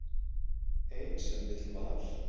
Ein sem vill val.